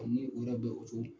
ni u yɛrɛ bɛ o cogo